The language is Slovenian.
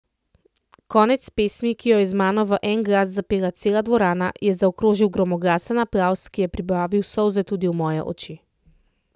Konec pesmi, ki jo je z mano v en glas zapela cela dvorana, je zaokrožil gromoglasen aplavz, ki je privabil solze tudi v moje oči.